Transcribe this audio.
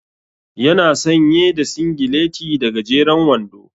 Ya na sanye da singileti da gajeren wando.